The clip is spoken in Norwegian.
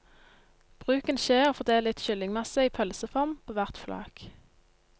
Bruk en skje og fordel litt kyllingmasse i pølseform på hvert flak.